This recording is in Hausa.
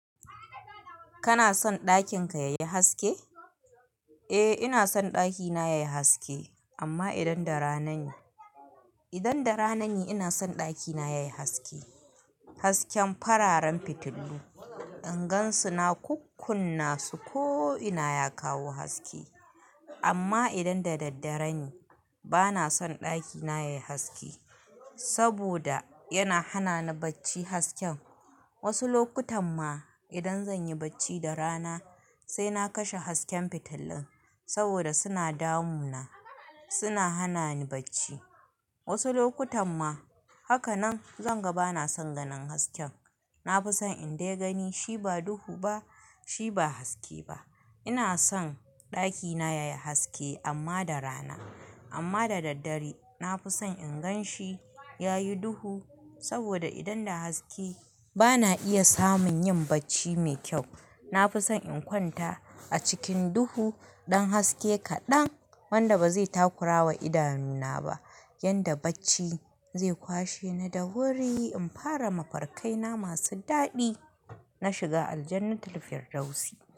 Kana son ɗakin ka yayi haske? Eh ina son ɗakina yayi haske amma idan da rana ne. Idan da rana ne ina son ɗakina yayi haske. Hasken fararen fitilu, in gansu na kukkunna su ko ina ya kawo haske. Amma idan da daddare ne bana son ɗakina yayi haske, saboda yana hana ni bacci hasken. Wasu lokutan ma idan zanyi bacci da rana sai na kashe hasken fitilin saboda suna damuna, suna hana ni bacci. Wasu lokutan ma, haka nan zanga bana son ganin hasken. Nafison in dai gani shi ba duhu ba shi ba haske ba. Ina son ɗakina yayi haske amma da rana. Amma da daddare nafison in gan shi yayi duhu saboda idan da haske bana iya samun yin bacci mai kyau. Nafison in kwanta a cikin duhu ɗan haske kaɗan wanda bazai takurawa idanu na ba yadda bacci zai kwashe ni da wuri, in fara mafarkai na masu daɗi, na shiga aljannatulfirdawsi.